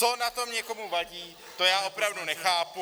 Co na tom někomu vadí, to já opravdu nechápu -